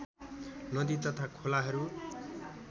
नदी तथा खोलाहरू